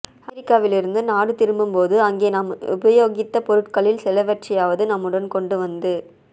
அமெரிக்காவிலிருந்து நாடு திரும்பும் போது அங்கே நாம் உபயோகித்த பொருட்களில் சிலவற்றையாவது நம்முடன் கொண்டு வந்து